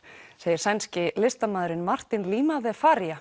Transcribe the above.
segir sænski listamaðurinn Martin Lima de